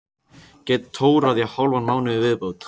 Get tórað í hálfan mánuð í viðbót.